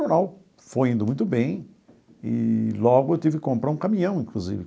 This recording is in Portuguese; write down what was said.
O jornal foi indo muito bem eee logo eu tive que comprar um caminhão, inclusive.